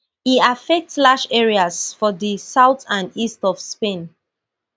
e affect large areas for di south and east of spain